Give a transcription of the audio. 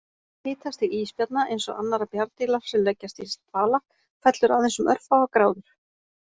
Hitastig ísbjarna, eins og annarra bjarndýra sem leggjast í dvala, fellur aðeins um örfáar gráður.